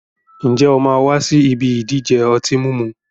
Ǹjẹ́ o máa wà sì ibi ìdíje ọtí mímu?